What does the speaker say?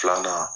Filanan